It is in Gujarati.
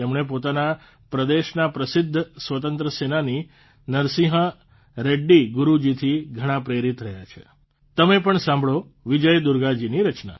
તેમણે પોતાના પ્રદેશના પ્રસિદ્ધ સ્વતંત્રસેનાની નરસિંહા રેડ્ડી ગારૂજીથી ઘણા પ્રેરિત રહ્યા છે તમે પમ સાંભળો વિજય દુર્ગાજીની રચના